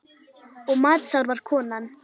Og matsár var konan.